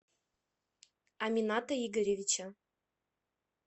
амината игоревича